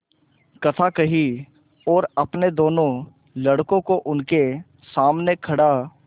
कथा कही और अपने दोनों लड़कों को उनके सामने खड़ा